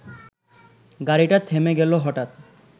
গাড়িটা থেমে গেল হঠাৎ